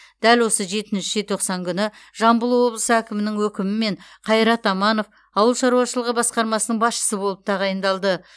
дәл осы жетінші желтоқсан күні жамбыл облысы әкімінің өкімімен қайрат аманов ауыл шаруашылығы басқармасының басшысы болып тағайындалды